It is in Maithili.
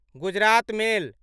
गुजरात मेल